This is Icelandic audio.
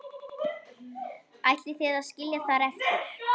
Ætlið þið að skilja þær eftir?